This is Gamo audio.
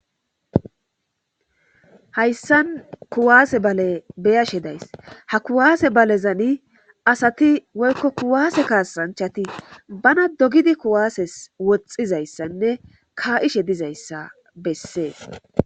hayssan kuwaase bale beyashe days ha kuwaase balezani asati woykko kuwaase kaasanchati bana dogidi kuwaases woxxizayssanne kaa7ishe dizayssa bessees